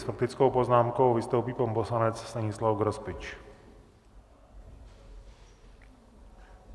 S faktickou poznámkou vystoupí pan poslanec Stanislav Grospič.